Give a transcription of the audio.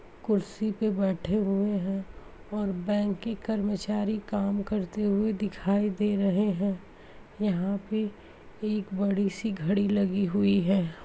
कुर्सी पर बैठे हुए हैं और बैंक के कर्मचारी काम करते हुए दिखाई दे रहे हैं। यहाँ पे एक बड़ी-सी घड़ी लगी हुई है।